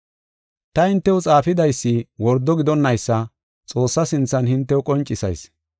Ta hintew xaafiydaysi wordo gidonnaysa Xoossaa sinthan hintew qoncisayis.